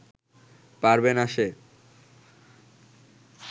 পারবে না সে